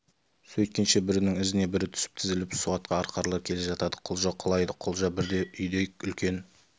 сөйткенше бірінің ізіне бірі түсіп тізіліп суатқа арқарлар келе жатады құлжа құлайды құлжа бірде үйдей үлкен